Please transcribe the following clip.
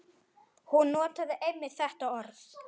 Hún notaði einmitt þetta orð.